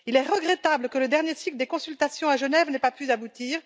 Il est regrettable que le dernier cycle des consultations à Genève n'ait pas pu aboutir.